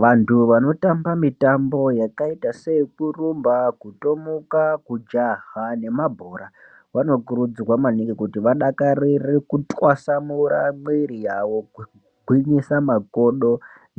Vantu vanotamba mitambo yakaita seyekurumba kutomuka kujaha nemabhora vanokurudzirwa maningi kuti vadakirire kutwasamura mwiri yavo kugwinyisa makodo